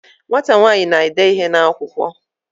Nwata nwanyi n'ede ihe n'akwukwo oge